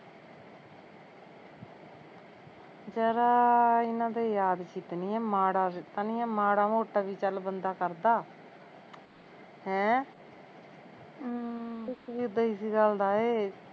ਜ਼ਰਾ ਇਹਨਾਂ ਦੇ ਯਾਦ ਚਿੱਤ ਨੀ ਐ ਮੜਾਂ ਵੀ ਨੀ ਐ ਨਹੀਂ ਮਾੜਾ ਮੋਟਾ ਵੀ ਚੱਲ ਬੰਦਾ ਕਰਦਾ ਹੈਂ ਹਮ ਦੁਖ ਵੀ ਉਦਾ ਇਸ ਗੱਲ ਦਾ ਐ